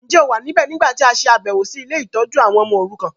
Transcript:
Njẹ́ o wa níbẹ̀ nígbàtí a ṣàbẹ̀wọ̀ si ile-itójú àwon ọmọ orukan?